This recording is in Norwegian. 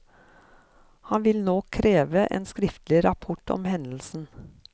Han vil nå kreve en skriftlig rapport om hendelsen.